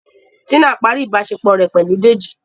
Tina parí ìbáṣepọ̀ rẹ pẹlú Dèjì.